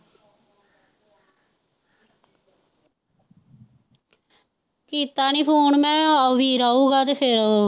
ਕੀਤਾ ਨੀ phone ਮੈਂ ਵੀਰਾ ਆਉਂਗਾ ਤੇ ਫੇਰ।